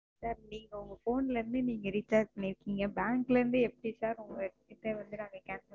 Sir நீங்க உங்க Phone ல இருந்து நீங்க Recharge பண்ணிருக்கீங்க Bank ல இருந்து எப்படி Sir உங்க Cancel பண்ண?